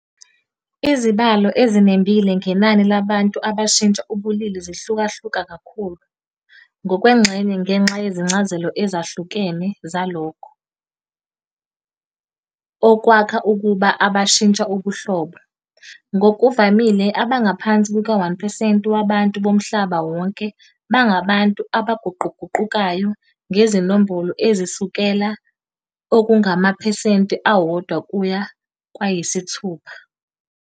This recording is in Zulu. Izibalo ezinembile ngenani labantu abashintsha ubulili zihlukahluka kakhulu, ngokwengxenye ngenxa yezincazelo ezahlukene zalokho okwakha ukuba abashintsha ubuhlobo. Ngokuvamile, abangaphansi kuka-1 percent wabantu bomhlaba wonke bangabantu abaguquguqukayo, ngezinombolo ezisukela okungamaphesenti awodwa kuya kwayisithupha.